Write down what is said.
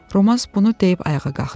Roman bunu deyib ayağa qalxdı.